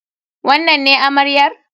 Wannan ne amaryar?